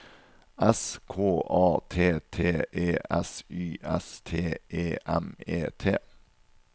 S K A T T E S Y S T E M E T